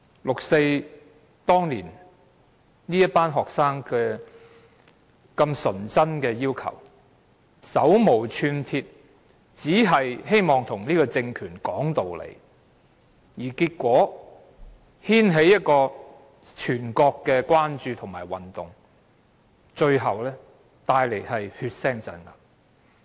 六四那年，這群學生這麼純真的提出要求，手無寸鐵，只是希望跟這個政權說道理，結果牽起一個全國關注的運動，最後帶來血腥鎮壓。